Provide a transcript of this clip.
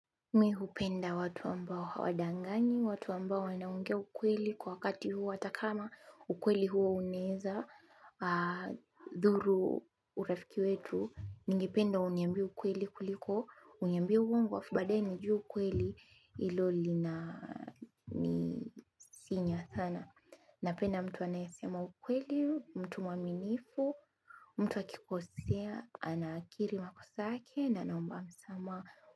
Mi hupenda watu ambao hawadanganyi, watu ambao wanaongea ukweli kwa wakati huo hata kama ukweli huo unaeza, dhuru urafiki wetu, ningependa uniambie ukweli kuliko uniambie uwongo halafu baadae nijue ukweli hilo linanisinya sana. Napenda mtu anayasema ukweli, mtu mwaminifu, mtu akikosea, anakiri makosa yake na anaomba msamaha.